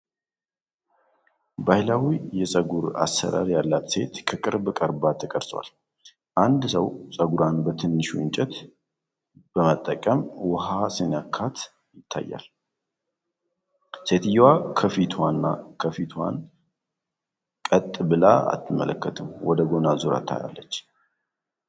ባህላዊ የጸጉር አሠራር ያላት ሴት ከቅርብ ቀርባ ተቀርጿል። አንድ ሰው ጸጉሯን በትንሽ እንጨት በመጠቀም ውኃ ሲነካት ይታያል። ሴትየዋ ከፊቷን ቀጥ ብላ አትመለከትም; ወደ ጎን አዙራ ታያለች።